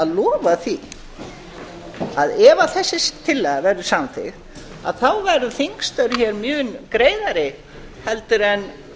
að lofa því að ef þessi tillaga verður samþykkt þá verða þingstörf mjög greiðari heldur en